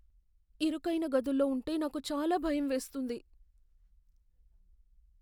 ఇరుకైన గదుల్లో ఉంటే నాకు చాలా భయం వేస్తుంది.